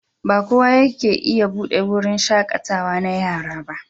Ba kowa yake iya buɗe wurin shaƙatawa na yara ba.